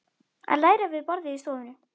Að læra við borðið í stofunni.